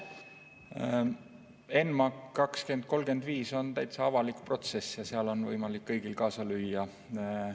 ENMAK 2035 on täitsa avalik protsess ja seal on võimalik kõigil kaasa lüüa.